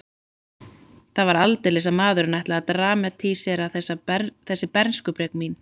Það var aldeilis að maðurinn ætlaði að dramatísera þessi bernskubrek mín.